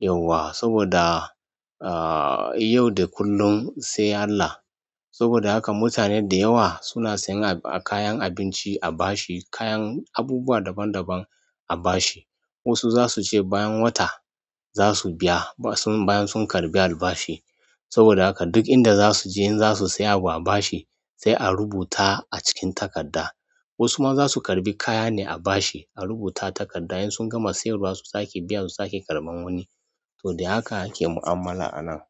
yauwa saboda, ahhh, yau da kullum sai Allah. Saboda haka mutane da yawa suna sayan kayan abinci a bashi, kayan abubuwa daban daban a bashi. Wasu zasu ce bayan wata zasu biya, bayan sun karɓi albashi. Saboda haka duk inda za su je, in za su saya abu a bashi sai a rubuta a cikin takarda. Wasu ma za su karɓi kaya ne a bashi, a rubuta takarda in sun gama siyarwa su sake biya su sake karɓan wani. To dai haka ake mu'amala anan.